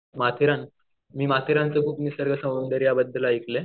माथेरान मी माथेरानच्या खूप निसर्ग सौंदर्याबद्दल ऐकलंय